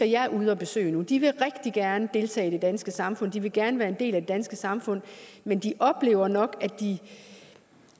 jeg er ude at besøge de vil rigtig gerne deltage i det danske samfund de vil gerne være en del af det danske samfund men de oplever nok